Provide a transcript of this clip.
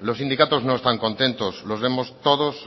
los sindicatos no están contentos los vemos todos